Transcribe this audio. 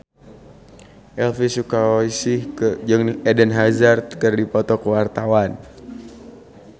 Elvi Sukaesih jeung Eden Hazard keur dipoto ku wartawan